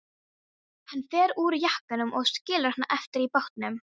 Hann fer úr jakkanum og skilur hann eftir í bátnum.